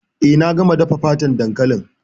Eh, na gama dafa fatan dankalin.